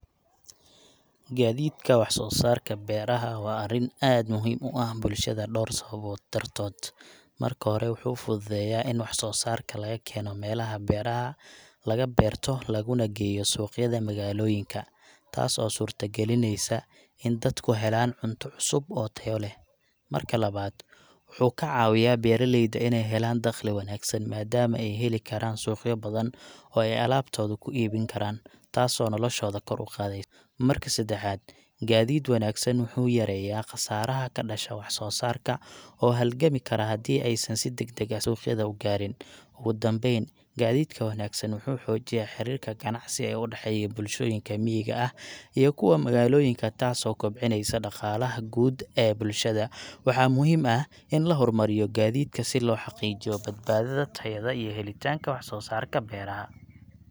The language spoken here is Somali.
Gaadiidka wax soo saarka beeraha waa arrin aad muhiim u ah bulshada dhowr sababood dartood: Marka hore, wuxuu fududeeyaa in wax soo saarka laga keeno meelaha beeraha laga beerto laguna geeyo suuqyada magaalooyinka, taas oo suurto gelinaysa in dadku helaan cunto cusub oo tayo leh. Marka labaad, wuxuu ka caawiyaa beeraleyda inay helaan dakhli wanaagsan maadaama ay heli karaan suuqyo badan oo ay alaabtooda ku iibin karaan, taasoo noloshooda kor u qaadaysa. Marka saddexaad, gaadiid wanaagsan wuxuu yareeyaa khasaaraha ka dhasha wax soo saarka oo haligami kara haddii aysan si degdeg ah suuqyada u gaarin. Ugu dambayn, gaadiidka wanaagsan wuxuu xoojiyaa xiriirka ganacsi ee u dhexeeya bulshooyinka miyiga ah iyo kuwa magaalooyinka, taasoo kobcinaysa dhaqaalaha guud ee bulshada. Waxaa muhiim ah in la horumariyo gaadiidka si loo xaqiijiyo badbaadada, tayada, iyo helitaanka wax soo saarka beeraha.